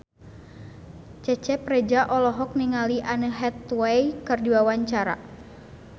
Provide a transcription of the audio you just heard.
Cecep Reza olohok ningali Anne Hathaway keur diwawancara